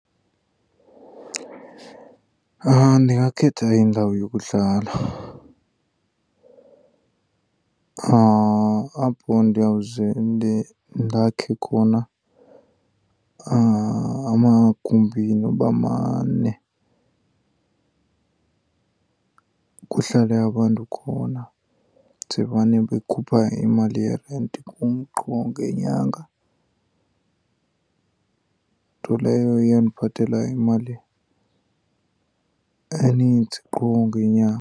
Ndingakhetha indawo yokuhlala apho ndiyawuze ndakhe khona amagumbi noba mane kuhlale abantu khona ze mane bekhupha imali yerenti kum qho ngenyanga. Nto leyo eyawundiphathela imali eninzi qho ngenyanga.